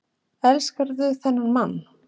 Elskarðu þennan mann?